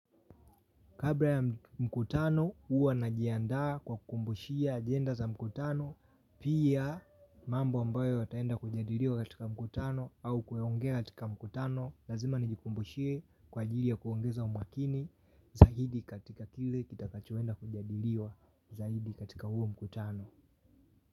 Kabla ya mkutano huwa najiandaa kwa kumbushia ajenda za mkutano. Pia mambo ambayo yataenda kujadiliwa katika mkutano au kuyaongea katika mkutano. Lazima nijikumbushie kwa ajili ya kuongeza umakini. Zaidi katika kile kitakachoenda kujadiliwa zaidi katika huo mkutano.